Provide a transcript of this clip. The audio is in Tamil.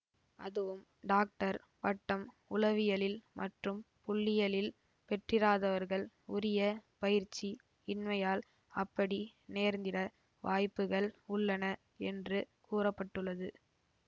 அதுவும் டாக்டர் பட்டம் உளவியலில் மற்றும் புள்ளியியலில் பெற்றிராதவர்கள் உரிய பயிற்சி இன்மையால் அப்படி நேர்ந்திட வாய்ப்புகள் உள்ளன என்று கூற பட்டுள்ளது